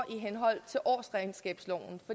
i henhold til årsregnskabsloven